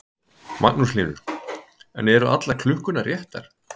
Magnús Hlynur: En eru allar klukkurnar réttar?